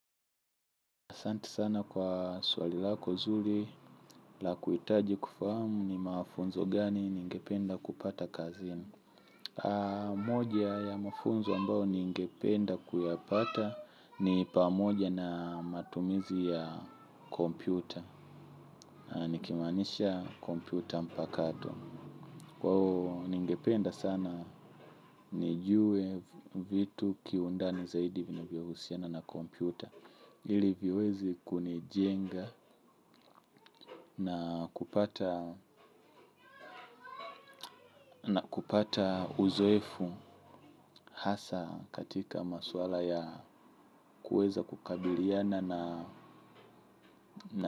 Asanti sana kwa swali lako zuri la kuhitaji kufahamu ni mafunzo gani ningependa kupata kazini. Moja ya mafunzo ambayo ningependa kuyapata ni pamoja na matumizi ya kompyuta. Nikimaanisha kompyuta mpakato. Kwao ningependa sana nijue vitu kiundani zaidi vinivyohusiana na kompyuta. Ili viweze kunijenga na kupata uzoefu hasa katika maswala ya kuweza kukabiliana na.